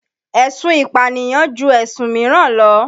Èsun ìpànìyàn ju ẹ̀sùn míràn lọ.